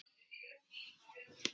Hugrún hló hvellt.